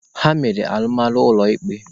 Ha mere alụmalụ ụlọ ikpe.